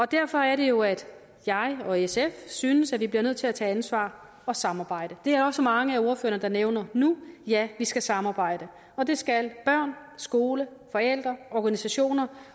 derfor er det jo at jeg og sf synes at vi bliver nødt til at tage ansvar og samarbejde det er der også mange af ordførerne der nævner nu ja vi skal samarbejde og det skal børn skole forældre organisationer